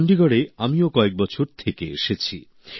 চন্ডীগড়ে আমিও কয়েক বছর থেকে এসেছি